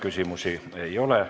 Küsimusi ei ole.